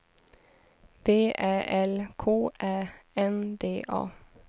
V Ä L K Ä N D A